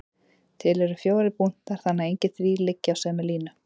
Til eru fjórir punktar þannig að engir þrír liggi á sömu línu.